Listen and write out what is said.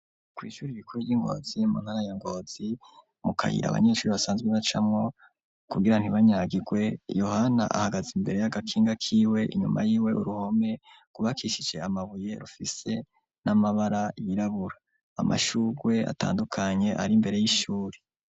Kwishuri ibikure ryi Ngozi mu ntara ya Ngozi mu kayira abanyeshuri basanzwe bacamo kugira ntibanyagigwe. yohana ahagaze imbere y'agakinga k'iwe inyuma y'iwe uruhome gubakishise amabuye rufise n'amabara yirabura amashurwe atandukanye ari mbere y'ishuri.